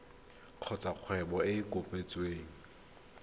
kgotsa kgwebo e e kopetsweng